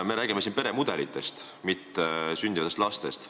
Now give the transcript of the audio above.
Me räägime siin peremudelitest, mitte sündivatest lastest.